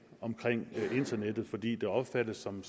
omkring internettet fordi det opfattes som